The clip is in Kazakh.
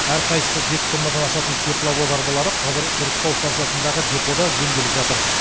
әрқайсысы жеті тоннадан асатын тепловоз арбалары қазір сұрыптау станциясындағы депода жөнделіп жатыр